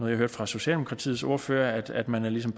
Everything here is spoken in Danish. hørte fra socialdemokratiets ordfører altså at man ligesom